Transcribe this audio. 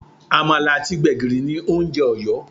Àmàlà àti gbègìrì ni oúnjẹ Ọ̀yọ́